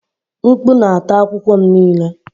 Mkpu na-ata akwụkwọ m niile.